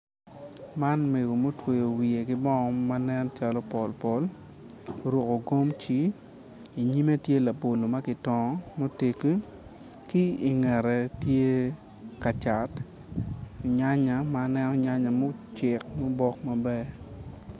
Man meg mutweyo wiye ki bongo ma nen calo pol pol oruku gomci i nyimme tye labolo ma kitokngo muteggi ki i ngette tye kacat nyanynya ma aneno nyanynya mucek mubok maber